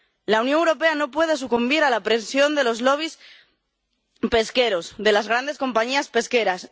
La Unión Europea no puede sucumbir a la presión de los lobbies pesqueros, de las grandes compañías pesqueras.